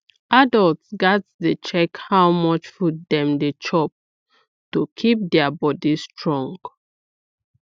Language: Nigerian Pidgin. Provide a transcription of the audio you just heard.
adults gats dey check how much food dem dey chop to keep their body strong